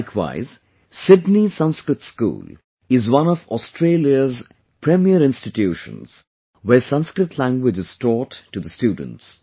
Likewise, Sydney Sanskrit School is one of Australia's premier institutions, where Sanskrit language is taught to the students